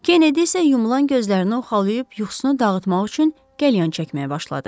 Kennedi isə yumulan gözlərini oxalayıb yuxusunu dağıtmaq üçün qəlyan çəkməyə başladı.